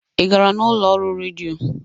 Ị gara n'ụlọ ọrụ redio?